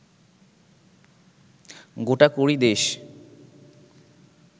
গোটাকুড়ি দেশ